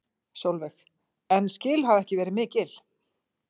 Sólveig: En skil hafa ekki verið mikil?